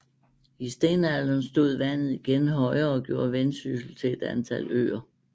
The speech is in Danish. I stenalderen stod vandet igen højere og gjorde Vendsyssel til et antal øer